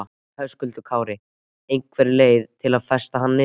Höskuldur Kári: Einhver leið til að festa hann niður?